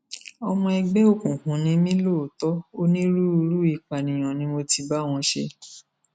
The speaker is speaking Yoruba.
ọmọ ẹgbẹ òkùnkùn ni mí lóòótọ onírúurú ìpànìyàn ni mo ti bá wọn ṣe